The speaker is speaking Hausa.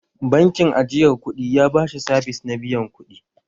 Bankin ajiyar kuɗi ya ba shi sabis na biyan kuɗi